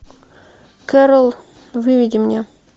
кэрол выведи мне